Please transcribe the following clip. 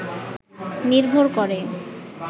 নির্ভর করে